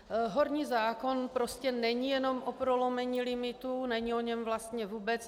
Horní zákon prostě není jenom o prolomení limitů, není o něm vlastně vůbec.